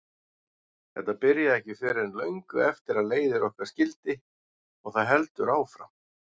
Þetta byrjaði ekki fyrr en löngu eftir að leiðir okkar skildi og það heldur áfram.